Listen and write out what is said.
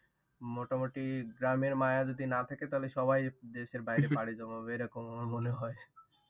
মোটামুটি গ্রামের মায়া যদি না থাকে তাহলে সবাই দেশের বাইরে পাড়ি জমাবে এরকম আমার মনে হয়